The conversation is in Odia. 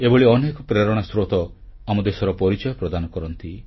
ଏଭଳି ଅନେକ ପ୍ରେରଣା ସ୍ରୋତ ଆମ ଦେଶର ପରିଚୟ ପ୍ରଦାନ କରନ୍ତି